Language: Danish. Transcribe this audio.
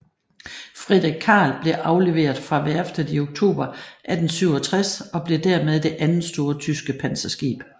Friedrich Carl blev afleveret fra værftet i oktober 1867 og blev dermed det andet store tyske panserskib